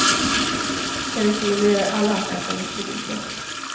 Jag rekommenderar alla att äta mycket vitlök.